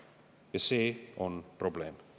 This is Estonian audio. Ja see on probleem.